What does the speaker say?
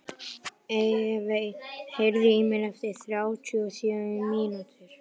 Evey, heyrðu í mér eftir þrjátíu og sjö mínútur.